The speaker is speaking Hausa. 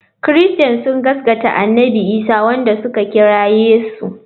Christains sun gaskanta annabi Isa wanda suka kira Yesu.